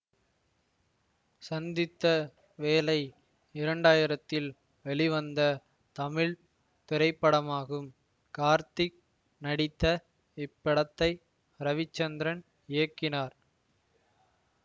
சந்தித்த வேளை இரண்டாயிரதில் வெளிவந்த தமிழ் திரைப்படமாகும் கார்த்திக் நடித்த இப்படத்தை ரவிசந்திரன் இயக்கினார்